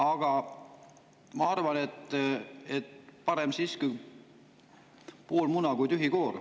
Aga ma arvan, et parem siiski pool muna kui tühi koor.